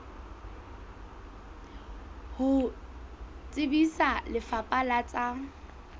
ho tsebisa lefapha la tsa